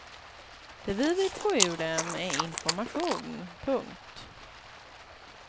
Det vi vill få ur dem är information. punkt